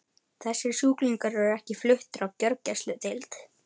Þessir sjúklingar eru ekki fluttir á gjörgæsludeild.